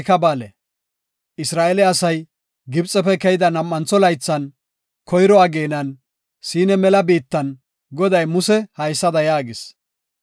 Isra7eele asay Gibxefe keyida nam7antho laythan koyro ageenan Siina mela biittan Goday Museko haysada yaagis;